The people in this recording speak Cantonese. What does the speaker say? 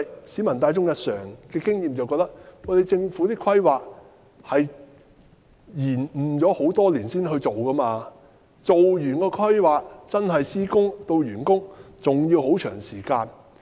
市民大眾的經驗認為，政府的規劃是延誤多年才進行，做完規劃，由施工到完工，還有很長的時間。